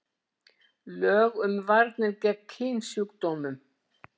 Lög um varnir gegn kynsjúkdómum.